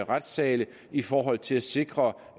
retssale i forhold til at sikre